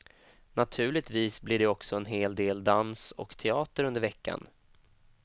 Naturligtvis blir det också en hel del dans och teater under veckan.